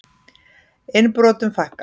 Innbrotum fækkar